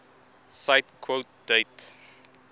cite quote date